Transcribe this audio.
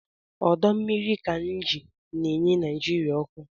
Ọdọmmiri Kainji na-enye Naijiria ọkụ